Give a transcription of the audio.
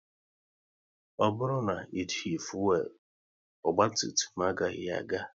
Ọ bụrụ na ejighi fuelu, ogba tum tum agaghị aga